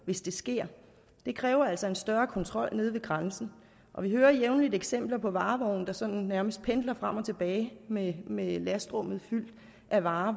hvis det sker det kræver altså en større kontrol nede ved grænsen og vi hører jævnligt eksempler på varevogne der sådan nærmest pendler frem og tilbage med med lastrummet fyldt af varer